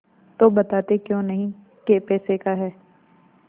तो बताते क्यों नहीं कै पैसे का है